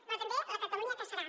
però també la catalunya que serà